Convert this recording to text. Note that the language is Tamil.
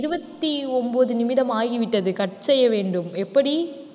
இருபத்தி ஒன்பது நிமிடம் ஆகிவிட்டது cut செய்ய வேண்டும். எப்படி